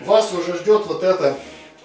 вас уже ждёт вот это